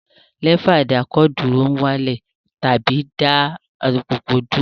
Lẹ́fà ìdákọ̀dúró ń wá lẹ̀ tàbí dá alùpùpù dúró